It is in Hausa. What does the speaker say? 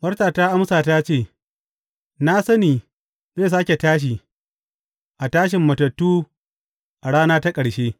Marta ta amsa ta ce, Na sani zai sāke tashi a tashin matattu a rana ta ƙarshe.